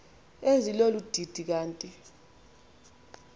ezilolu didi kanti